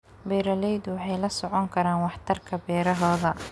Beeraleydu waxay la socon karaan waxtarka beerahooda.